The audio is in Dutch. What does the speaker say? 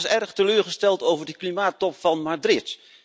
U was erg teleurgesteld over de klimaattop van Madrid.